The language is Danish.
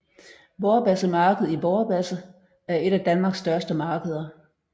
Vorbasse Marked i Vorbasse er et af Danmarks største markeder